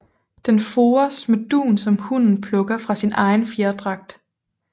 Den fores med dun som hunnen plukker fra sin egen fjerdragt